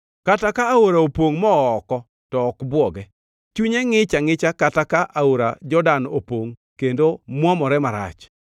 Kata ka aora opongʼ moo oko, to ok bwoge; chunye ngʼich angʼicha kata ka aora Jordan opongʼ kendo mwomore marach.